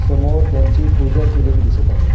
समोर त्यांची पूजा केलेली दिसत आहे.